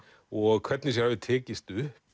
og hvernig sér hafi tekist upp